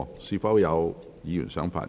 是否有議員想發言？